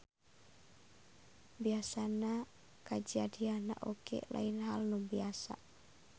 Biasana kajadianana oge lain hal nu biasa.